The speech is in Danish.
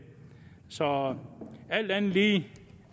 så alt andet lige